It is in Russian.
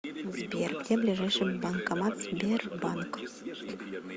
сбер где ближайший банкомат сбербанк